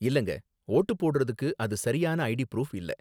இல்லங்க, வோட்டு போடுறதுக்கு அது சரியான ஐடி ப்ரூஃப் இல்ல.